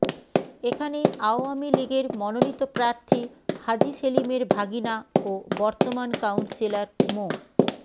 এখানে আওয়ামী লীগের মনোনীত প্রার্থী হাজী সেলিমের ভাগিনা ও বর্তমান কাউন্সিলর মো